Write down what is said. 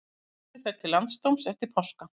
Málið fer til landsdóms eftir páska